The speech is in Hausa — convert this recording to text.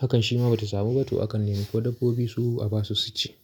hakan shi ma ba ta samu ba, to akan nemo ma dabbobi su a ba su su ci.